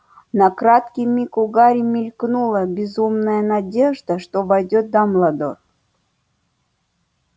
на краткий миг у гарри мелькнула безумная надежда что войдёт дамблдор